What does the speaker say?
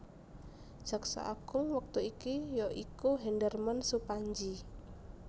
Jaksa Agung wektu iki ya iku Hendarman Supandji